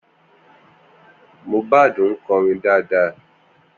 Mohbad ń kọrin dáadáa